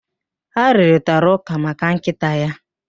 Ha rụrịtaraụ́kà maka nkịta ya.